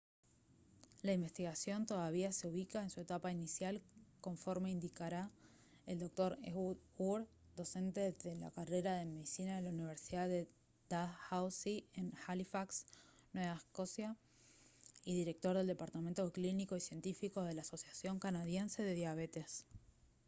la investigación todavía se ubica en su etapa inicial conforme indicara el dr ehud ur docente en la carrera de medicina de la universidad de dalhousie en halifax nueva escocia y director del departamento clínico y científico de la asociación canadiense de diabetes